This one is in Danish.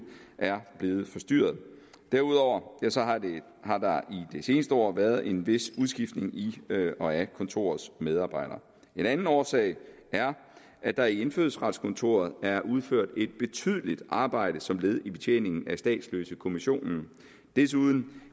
er blevet forstyrret derudover har der i det seneste år været en vis udskiftning i og af kontorets medarbejdere en anden årsag er at der i indfødsretskontoret er udført et betydeligt arbejde som led i betjeningen af statsløsekommissionen desuden